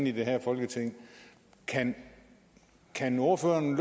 i det her folketing kan kan ordføreren